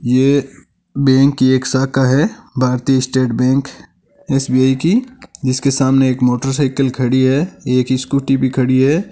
ये बैंक की एक शाखा है भारतीय स्टेट बैंक एश_बि_याई की इसके सामने एक मोटर साइकिल खडी है एक स्कूली भी खड़ी है।